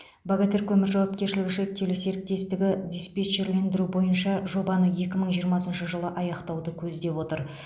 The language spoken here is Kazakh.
богатырь көмір жауапкершілігі шектеулі серіктестігі диспетчерлендіру бойынша жобаны екі мың жиырмасыншы жылы аяқтауды көздеп отыр